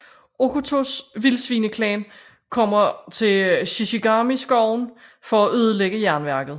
Okkotos Vildsvineklan kommer til Shishigami skoven for at ødelægge jernværket